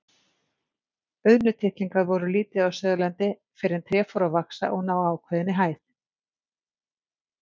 Auðnutittlingar voru lítið á Suðurlandi fyrr en tré fóru að vaxa og ná ákveðinni hæð.